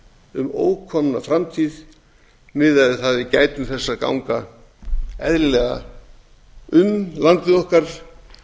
um ókomna framtíð miðað við að við gætum þess að ganga eðlilega um landið okkar